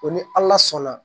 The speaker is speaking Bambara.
O ni ala sɔnna